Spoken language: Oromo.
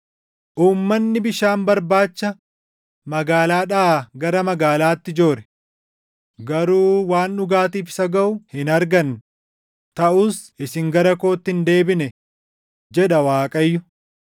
Uummanni bishaan barbaacha magaalaadhaa gara magaalaatti joore; garuu waan dhugaatiif isa gaʼu hin arganne; taʼus isin gara kootti hin deebine” jedha Waaqayyo.